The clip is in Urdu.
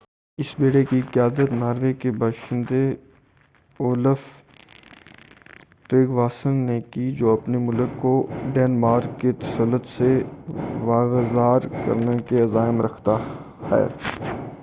اس بیڑے کی قیادت ناروے کے باشندے اولف ٹریگواسن نے کی جو اپنے ملک کو ڈنمارک کے تسلط سے واگزار کرنے کے عزائم رکھتا ہے